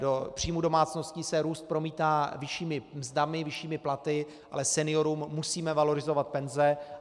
Do příjmů domácností se růst promítá vyššími mzdami, vyššími platy, ale seniorům musíme valorizovat penze.